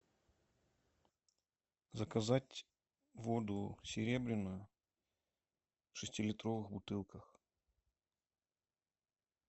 заказать воду серебряную в шестилитровых бутылках